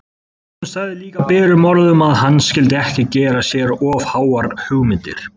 Hún sagði líka berum orðum að hann skyldi ekki gera sér of háar hugmyndir!